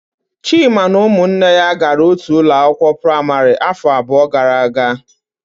Chima na ụmụnne ya gara otu ụlọ akwụkwọ praịmarị afọ abụọ gara aga.